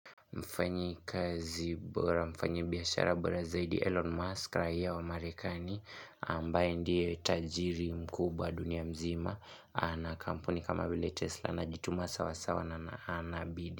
Mfanyikazi bora mfanyibiashara bora zaidi Elon Musk raia wa marekani ambaye ndiye tajiri mkubwa dunia mzima na kampuni kama vile Tesla anajituma sawa sawa na anabidi.